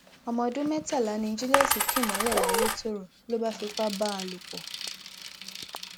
ọmọ ọdún mẹtàlá ni julius kì mọlẹ layétọrọ ló bá fipá bá a lò pọ